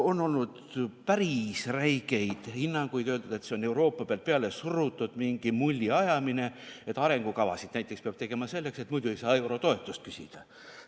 On olnud päris räigeid hinnanguid, on öeldud, et see on Euroopast pealesurutud mingi mulliajamine, et arengukava näiteks peab tegema selleks, et muidu ei saa eurotoetust küsida.